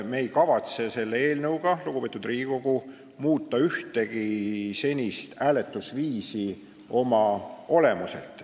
Me ei kavatse selle eelnõuga, lugupeetud Riigikogu, ühtegi senist hääletusviisi oma olemuselt muuta.